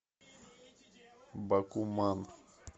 бакуман